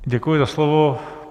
Děkuji za slovo.